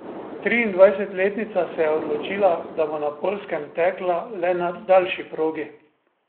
Triindvajsetletnica se je odločila, da bo na Poljskem tekla le na daljši progi.